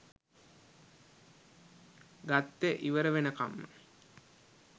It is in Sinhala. ගත්තේ ඉවර වෙනකම්ම